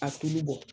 A tulu bɔ